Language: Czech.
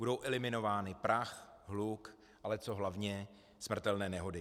Budou eliminovány prach, hluk, ale co hlavně, smrtelné nehody.